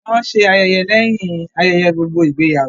Wọ́n ṣé ayẹyẹ lẹ́yìn ayẹyẹ gbogbo ìgbéyàwó